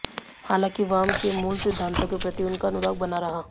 हालांकि वाम के मूल सिद्धांतों के प्रति उनका अनुराग बना रहा